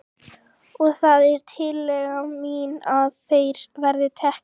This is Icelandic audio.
Og það er tillaga mín að þeir verði teknir af.